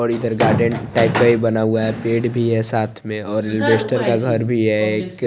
और इधर garden type का भी बना हुआ है पेड़ भी है साथ में और इन्वेस्टर का घर भी है एक।